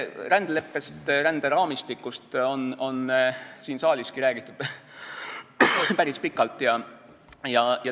Rändeleppest või ränderaamistikust on siin saaliski räägitud päris pikalt.